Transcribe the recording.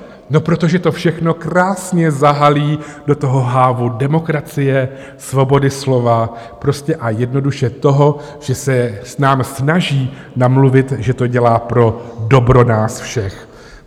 No protože to všechno krásně zahalí do toho hávu demokracie, svobody slova, prostě a jednoduše toho, že se nám snaží namluvit, že to dělá pro dobro nás všech.